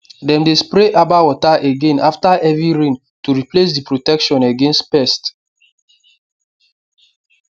dem dey spray herbal water again after heavy rain to replace the protection against pest